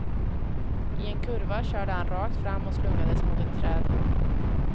I en kurva körde han rakt fram och slungades mot ett träd.